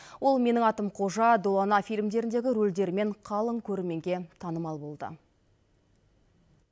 ол менің атым қожа долана фильмдеріндегі рөлдерімен қалың көрерменге танымал болды